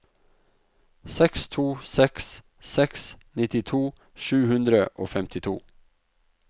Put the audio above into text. seks to seks seks nittito sju hundre og femtito